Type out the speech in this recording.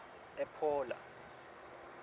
ephola